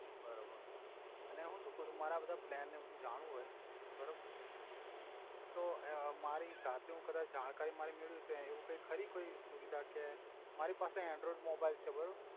બરોબર અને હુ સુ કવ છુ મારે આ બધા પ્લેન ને આ બધુ જાણવું હોય બરોબર તો અ મારી જાતે હુ કદાચ જાણકારી મરે મેળવી હોય તો એવુ કોઇ ખરી કોઇ એવિ સુવિધા કે મારી પાસે એંડ્રોઇડ મોબઈલ છે બરોબર